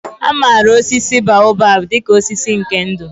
A maara osisi baobab dị ka osisi nke ndụ.